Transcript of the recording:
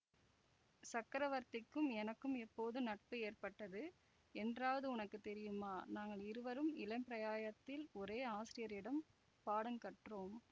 சக்கரவர்த்திக்கும் எனக்கும் எப்போது நட்பு ஏற்பட்டது என்றாவது உனக்கு தெரியுமா நாங்கள் இருவரும் இளம்பிராயத்தில் ஒரே ஆசிரியரிடம் பாடங்கற்றோம்